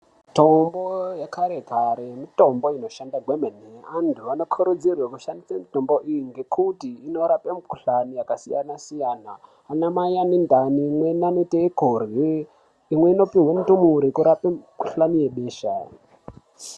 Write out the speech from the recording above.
Mitombo yekare kare mitombo inoshanda kwemene. Antu anokurudzirwe kushandise mitombo iyi nekuti i,norape mikhuhlani yakasiyana-siyana anamai ane ndani imweni anoite kurye ,imwe inopihwe ndumure ,kurape